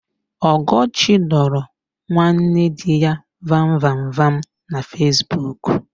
Ọgọchi dọrọ nwanne dị ya vamvamvam na Fesbuku.